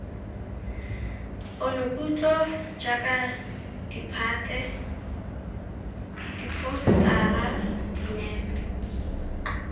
ponokutlo jaaka ditphate diphousetara dinepe